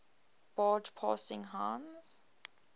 barge passing heinz